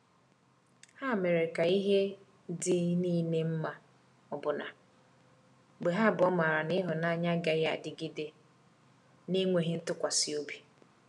Ha mere ka ihe dị niile mma, ọbụna mgbe ha abụọ maara na ịhụnanya agaghị adịgide na-enweghị ntụkwasị obi.